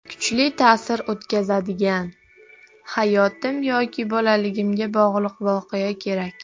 Kuchli ta’sir o‘tkazadigan, hayotim yoki bolaligimga bog‘liq voqea kerak!